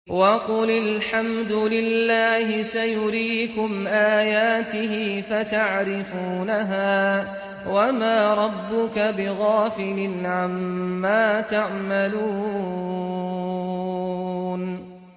وَقُلِ الْحَمْدُ لِلَّهِ سَيُرِيكُمْ آيَاتِهِ فَتَعْرِفُونَهَا ۚ وَمَا رَبُّكَ بِغَافِلٍ عَمَّا تَعْمَلُونَ